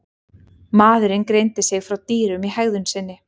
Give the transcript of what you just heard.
Maðurinn greindi sig frá dýrum í hegðun sinni.